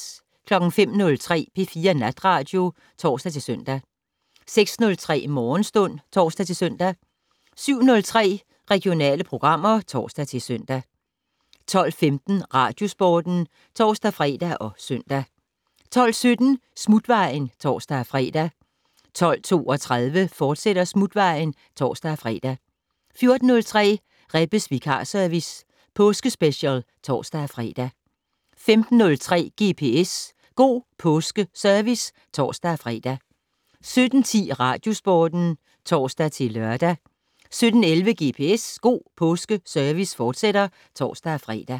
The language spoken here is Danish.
05:03: P4 Natradio (tor-søn) 06:03: Morgenstund (tor-søn) 07:03: Regionale programmer (tor-søn) 12:15: Radiosporten (tor-fre og søn) 12:17: Smutvejen (tor-fre) 12:32: Smutvejen, fortsat (tor-fre) 14:03: Rebbes vikarservice - påskespecial (tor-fre) 15:03: GPS - God Påske Service (tor-fre) 17:10: Radiosporten (tor-lør) 17:11: GPS - God Påske Service, fortsat (tor-fre)